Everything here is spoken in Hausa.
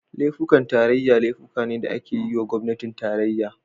Laifukan tarayya laifuka ne da ake yiwa gwamnatin tarayya.